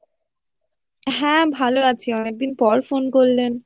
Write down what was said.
হ্যাঁ ভালো আছি অনেকদিন পর phone করলেন